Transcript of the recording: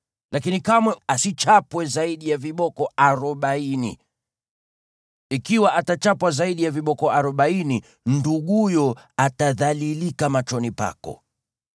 lakini kamwe asichapwe zaidi ya viboko arobaini. Ikiwa atachapwa zaidi ya viboko arobaini, nduguyo atadhalilika machoni pako.